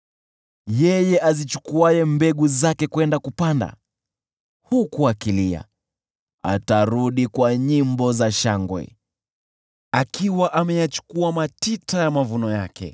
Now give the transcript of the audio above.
Yeye azichukuaye mbegu zake kwenda kupanda, huku akilia, atarudi kwa nyimbo za shangwe, akichukua miganda ya mavuno yake.